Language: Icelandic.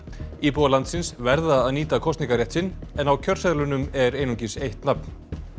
íbúar landsins verða að nýta kosningarétt sinn en á kjörseðlunum er einungis eitt nafn